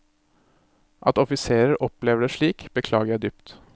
At offiserer opplever det slik, beklager jeg dypt.